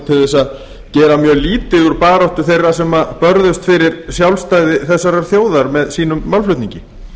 til að gera mjög lítið úr baráttu þeirra sem sem börðust fyrir sjálfstæði þessarar þjóðar með sínum málflutningi